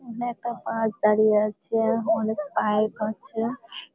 এখানে একটা বাস দাঁড়িয়ে আছে-এ। অনেক বাইক আছে।